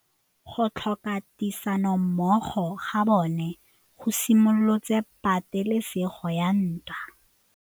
Go tlhoka tirsanommogo ga bone go simolotse patêlêsêgô ya ntwa.